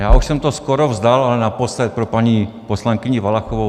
Já už jsem to skoro vzdal, ale naposled pro paní poslankyni Valachovou.